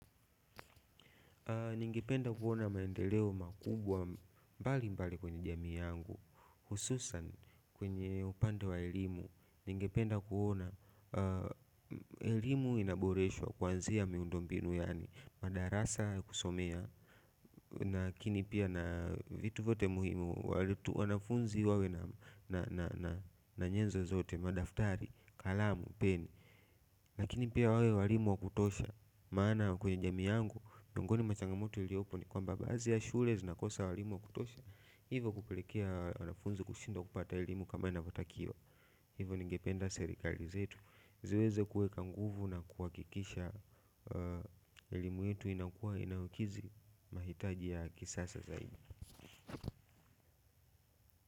Ningependa kuona maendeleo makubwa mbalimbali kwenye jamii yangu, hususan kwenye upande wa elimu. Ningependa kuona elimu inaboreshwa kuanzia miundo mbinu yaani madarasa kusomea. Lakini pia na vitu vyote muhimu wale wanafunzi wawe na nyenzo zote madaftari, kalamu, peni. Lakini pia wawe walimu wa kutosha maana kwenye jamii yangu miongoni mwa changamoto iliopo ni kwamba baadhi ya shule zinakosa walimu wa kutosha hivo kupelekea wanafunzi kushindwa kupata elimu kama inavyotakiwa hivo ningependa serikali zetu ziweze kuweka nguvu na kuhakikisha elimu yetu inakuwa inayokidhi. Mahitaji ya kisasa zaidi.